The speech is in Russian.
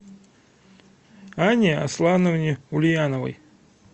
анне аслановне ульяновой